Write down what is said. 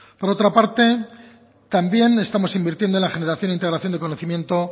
por otra parte también estamos invirtiendo en la generación e integración del conocimiento